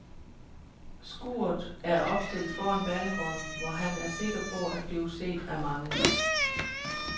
Skuret er opstillet foran banegården, hvor han er sikker på at blive set af mange.